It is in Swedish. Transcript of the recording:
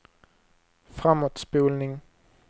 framåtspolning